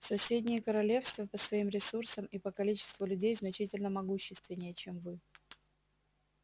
соседние королевства по своим ресурсам и по количеству людей значительно могущественнее чем вы